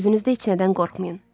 Özünüzdə heç nədən qorxmayın.